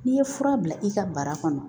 N'i ye fura bila i ka bara kɔnɔ